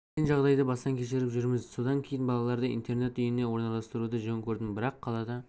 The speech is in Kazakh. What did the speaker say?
қиын жағдайды бастан кешіріп жүрміз содан кейін балаларды интернат үйіне орналастыруды жөн көрдім бірақ қалада